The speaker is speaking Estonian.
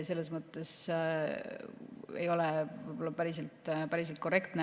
Selles mõttes ei ole see võib-olla päriselt korrektne.